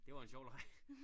Det var en sjov leg